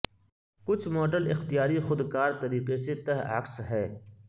کچھ ماڈل اختیاری خود کار طریقے سے تہ عکس ہے